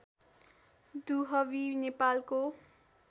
दुहवी नेपालको